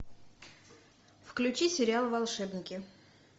включи сериал волшебники